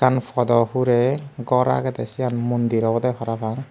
iyan padaw hurey gor agedey siyan mondir obodey parapang.